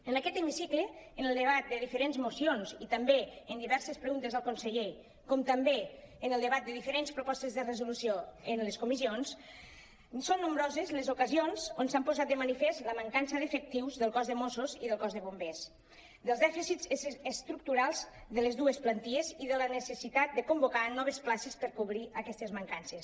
en aquest hemicicle en el debat de diferents mocions i també en diverses pre·guntes al conseller com també en el debat de diferents propostes de resolució en les comissions són nombroses les ocasions on s’han posat de manifest la mancança d’efectius del cos de mossos i del cos de bombers dels dèficits estructurals de les dues plantilles i de la necessitat de convocar noves places per cobrir aquestes man·cances